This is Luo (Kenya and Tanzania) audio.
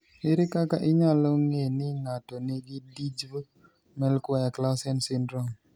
Ere kaka inyalo ng'e ni ng'ato nigi Dyggve Melchior Clausen syndrome?